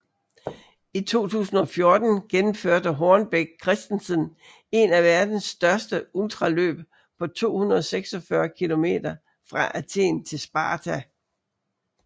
I 2014 gennemførte Hornbech Christensen en af verdens største ultraløb på 246 km fra Athen til Sparta